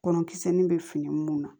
Kɔnɔ kisɛ nin bɛ fini mun na